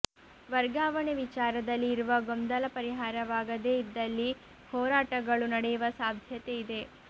ವರ್ಗಾವಣೆ ವಿಚಾರದಲ್ಲಿ ಇರುವ ಗೊಂದಲ ಪರಿಹಾರವಾಗದೇ ಇದ್ದಲ್ಲಿ ಹೋರಟಾಗಳೂ ನಡೆಯುವ ಸಾಧ್ಯತೆ ಇದೆ